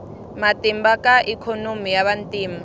matimba ka ikhonomi ya vantima